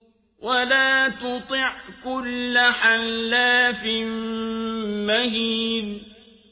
وَلَا تُطِعْ كُلَّ حَلَّافٍ مَّهِينٍ